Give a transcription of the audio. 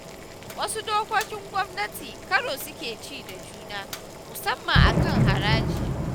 Wasu dokokin gwamnati karo suke ci da juna, musamman a kan haraji.